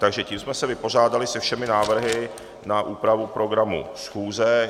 Takže tím jsme se vypořádali se všemi návrhy na úpravu programu schůze.